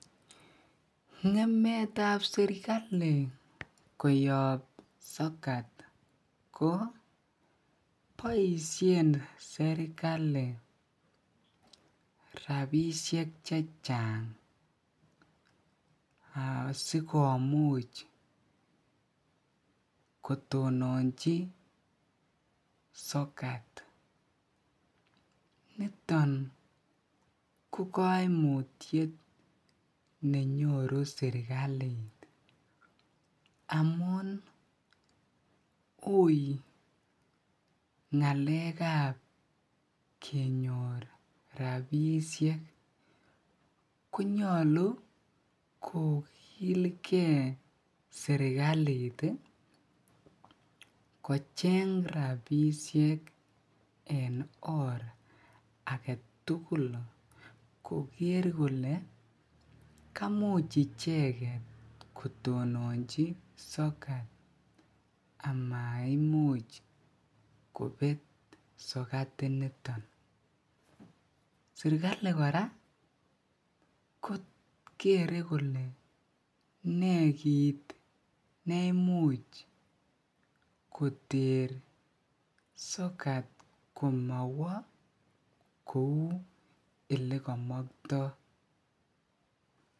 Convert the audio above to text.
ngemeet ab serkali koyoob sokat ko boishen serkali rabishek chechang asigomuch kotononchi sokat, niton ko koimutyet nenyoru sekaliit amuun uii ngaeek ab kenyoor rabishek konyolu kogilge sekaliit iih kocheng rabishek en oor agetugul kogeer kole kamuuch icheget kotononchi sokat amaimuch kobeet sokat initon, serkali kora kere kole nee kiit neimuch koteer sokat komowo kouu elegomoktoo.